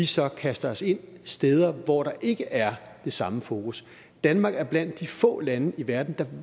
så kaster os ind steder hvor der ikke er det samme fokus danmark er blandt de få lande i verden der